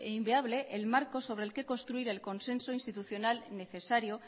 inviable el marco sobre el que construir el consenso institucional necesario